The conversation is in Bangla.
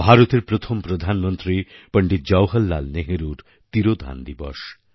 ভারতের প্রথম প্রধানমন্ত্রী পণ্ডিত জওহরলাল নেহেরুর তিরোধান দিবস